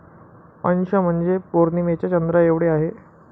अंश म्हणजे पौर्णिमेच्या चंद्राएवढे आहे.